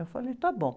Eu falei, está bom.